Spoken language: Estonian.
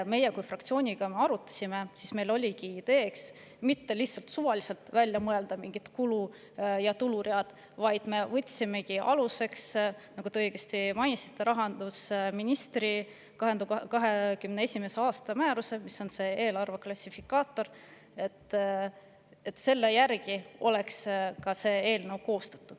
Kui me seda fraktsioonis arutasime, siis meil oligi idee mitte suvaliselt välja mõelda mingid kulu- ja tuluread, vaid me võtsime aluseks, nagu te õigesti mainisite, rahandusministri 2021. aasta määruse, eelarveklassifikaatori, et see eelnõu oleks koostatud selle järgi.